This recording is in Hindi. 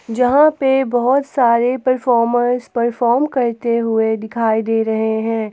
जहां पे बहुत सारे परफॉर्मर परफॉर्म करते हुए दिखाई दे रहे हैं।